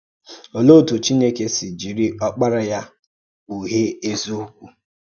Ọ̀lèé òtù Chínèkè sị̀ jìrì Ọ́kpárá Yá kpùghée èzíòkwú